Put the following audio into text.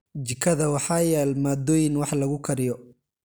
Jikada waxaa yaal maaddooyin wax lagu kariyo.